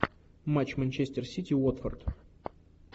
матч манчестер сити уотфорд